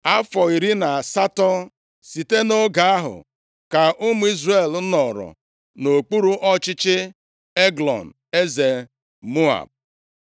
Afọ iri na asatọ site nʼoge ahụ ka ụmụ Izrel nọrọ nʼokpuru ọchịchị Eglọn, eze Moab.